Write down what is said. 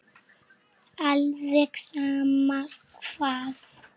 Alveg sama hvað.